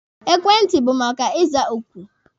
Ekwentị bụ maka iza oku.